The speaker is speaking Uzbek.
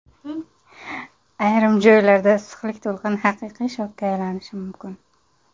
Ayrim joylarda issiqlik to‘lqini haqiqiy shokka aylanishi mumkin.